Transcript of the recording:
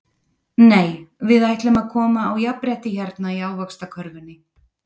Nei við ætlum að koma á jafnrétti hérna í Ávaxtakörfunni.